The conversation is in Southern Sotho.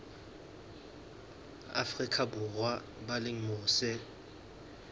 afrika borwa ba leng mose